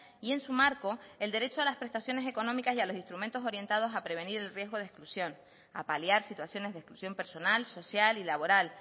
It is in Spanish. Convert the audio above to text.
y en su marco el derecho a las prestaciones económicas y a los instrumentos orientados a prevenir el riesgo de exclusión a paliar situaciones de exclusión personal social y laboral